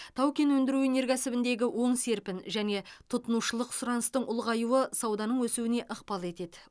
тау кен өндіру өнеркәсібіндегі оң серпін және тұтынушылық сұраныстың ұлғаюы сауданың өсуіне ықпал етеді